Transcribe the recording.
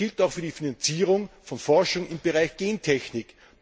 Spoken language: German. Das gilt auch für die Finanzierung von Forschung im Bereich Gentechnik.